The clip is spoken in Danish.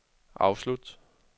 afslut